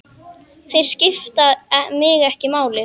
Þeir skipta mig ekki máli.